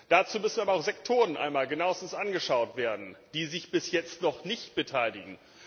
Dazu müssen aber auch Sektoren einmal genauestens angeschaut werden, die sich bis jetzt noch nicht beteiligen.